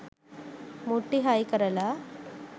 මුට්ටි හයි කරලා